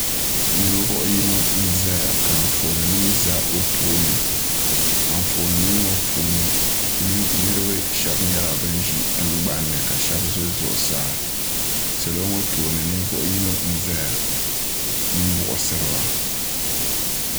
Ninvuɣ'yino n zaya ka anfoonima za o tooni anfoonima ŋɔ puuni nira niriba shɛba nyɛla ban ʒi tiŋ gbanni ka shɛba ʒi zʋɣʋsaa salo ŋɔ tooni ninvuɣ'yino n zaya m buɣisiriba